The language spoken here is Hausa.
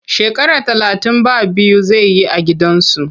Shekara talatin ba biyu zai yi a gidan kaso.